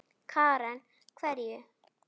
Karen: Hverju?